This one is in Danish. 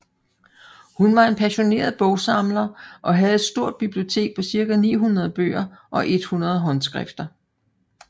Hun var en passioneret bogsamler og havde her et stort bibliotek på cirka 900 bøger og 100 håndskrifter